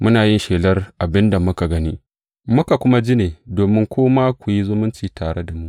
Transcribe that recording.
Muna yin muku shelar abin da muka gani, muka kuma ji ne, domin ku ma ku yi zumunci tare da mu.